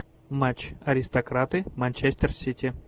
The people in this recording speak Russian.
матч аристократы манчестер сити